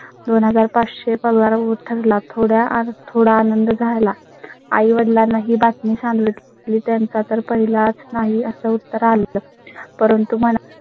दोन हजार पाच शे पगार व ठरला. थोडय़ा थोडय़ा आनंद झाला. आई वडिलांना ही बातमी सांगितली. त्यांचा तर पहिल्याच नाही असं उत्तर आलं, परंतु मला.